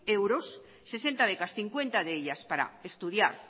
euros sesenta becas cincuenta de ellas para estudiar